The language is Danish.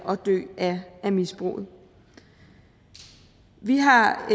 og dø af misbruget vi har